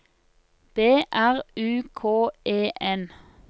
B R U K E N